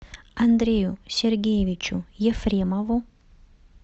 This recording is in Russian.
андрею сергеевичу ефремову